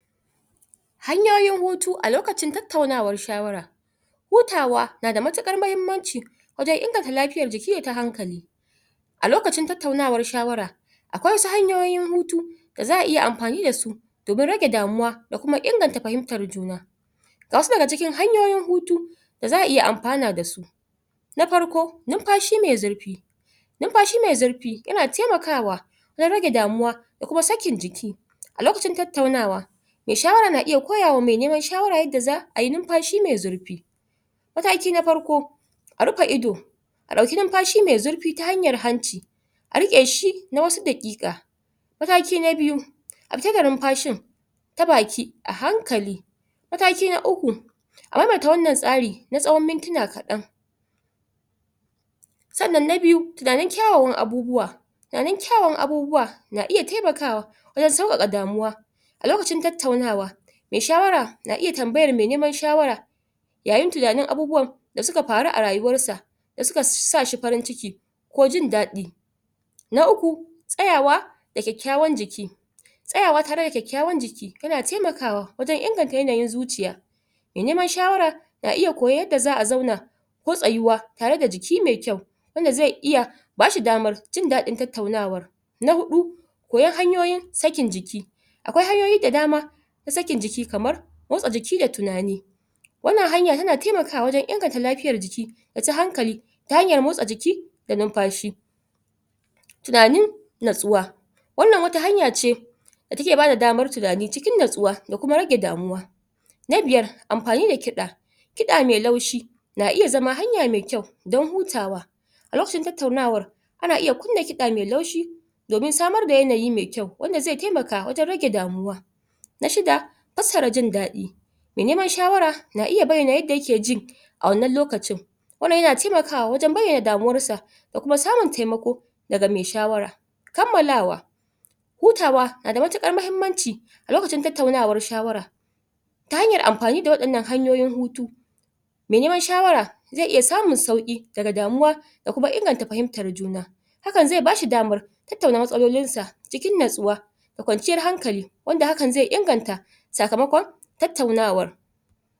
Hanyoyin hutu a lokacin tattaunawan shawara hutawa na da muttuƙar muhimmanci wajen inganta lafiyar jiki yau ta hankali a lokacin tattaunawar shawara akwai wasu hanyoyin hutu da za a iya ampani da su domin rage damuwa da kuma ingantar fahimtar juna ga wasu daga cikin hanyoyin hutu da za a iya ampana da su na parko numpashi mai zurpi numpashi mai zurpi yana taimakawa don rage damuwa, da kuma sakin jiki a lokacin tattaunawa mai shawara na iya koyawa mai neman shawara yadda za a yi numpashi mai zurpi mataki na farko, a rupa ido a dauki numpashi mai zurpi ta hanyar hanci a riƙe shi na wasu daƙiƙa mataki na biyu, a cire numpashin ta baki a hankali. Mataki na uku, a maimaita wannan tsari na mintina kaɗan sannan na biyu, tunanen kyawawan abubuwa tunanen kyawawan abubuwa na iya taimakawa wajen sauƙaƙa abubuwa a lokacin tattaunawa, mai shawara na iya tambayar mai niman shawara yayin tunanin abubuwan da suka paru a rayuwar sa, da suka sa shi parin ciki ko jin daɗi na uku, tsayawa da kyakkyawan jiki tsayawa tare da kyakkyawan jiki tana taimakawa wajen inganta yanayin zuciya mai neman shawara na iya koyan yadda za'a zauna ko tsayuwa tare da jiki mai kyau, wanda zai iya bashi damar jin daɗin tattaunawar na huɗu, koyan hanyoyin sakin jiki Akwai hanyoyi da dama na sakin jiki, kamar motsa jiki da tunani wannan hanya tana taimakawa wajen inganta lafiyar jiki da ta hankali ta hanyar motsa jiki da numpashi tunanin natsuwa, wannan wata hanya ce da ta ke ba da damar tunani cikin natsuwa da kuma rage damuwa na biyar, ampani da kiɗa kiɗa mai laushi, na iya zama hanya mai kyau don hutawa a lokacin tattaunawar ana iya kunna kiɗa mai laushi domin samar da yanayi mai kyau wanda zai taimaka wajen rage damuwa na shida, pasara jin daɗi mai neman shawara na iya bayyana yadda yake ji a wannan lokacin wannan yana taimakawa wajen bayyana damuwar sa da kuma samun taimako daga mai shawara kammalawa hutawa na da muttuƙar mahimmanci a lokacin tattaunawar shawara ta hanyar ampani da waɗannan hanyoyin hutu mai neman shawara zai iya samun sauƙi daga damuwa da kuma inganta fahimtar juna hakan zai ba shi damar tattauna matsalolin sa cikin natsuwa da kwanciyar hankali, wanda hakan zai inganta sakamakon tattaunawar.